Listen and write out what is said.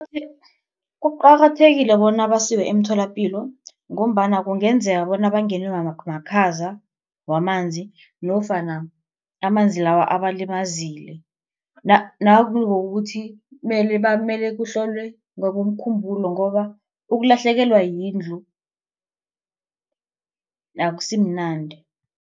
Kuqakathekile bona basiwe emtholapilo ngombana kungenzeka bona bangenwe makhaza wamanzi nofana amanzi lawa abalimazile nangokuthi kumele kuhlolwe ngokomkhumbulo ngoba ukulahlekelwa yindlu akusimnandi.